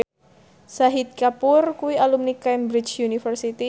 Shahid Kapoor kuwi alumni Cambridge University